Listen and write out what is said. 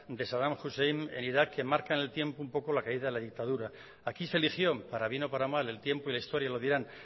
de sadam hussein en irak que marca en el tiempo un poco la caída de la dictadura aquí se eligió para bien o para mal el tiempo y la historia lo dirán